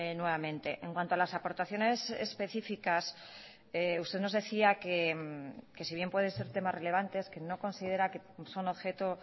nuevamente en cuanto a las aportaciones específicas usted nos decía que si bien pueden ser temas relevantes que no considera que son objeto